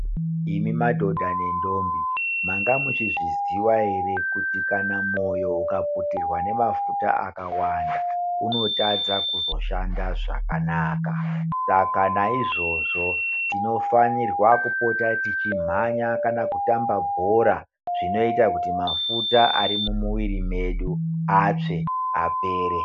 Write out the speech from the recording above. Imi madhodha nendombi, manga muchizviziya here kuti kana moyo ukaputirwa nemafuta akawanda, unotadza kuzoshanda zvakanaka. Saka naizvozvo, tinofanirwa kupota tichimhanya kana kutamba bhora, zvinoita kuti mafuta ari mumwiri medu atsve, apere.